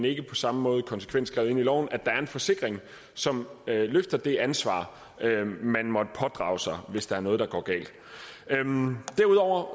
ikke på samme måde konsekvent skrevet ind i loven at der er en forsikring som løfter det ansvar man måtte pådrage sig hvis der er noget der går galt derudover